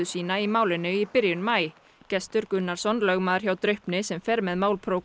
sína í málinu í byrjun maí Gestur Gunnarsson lögmaður hjá Draupni sem fer með mál